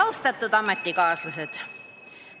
Austatud ametikaaslased!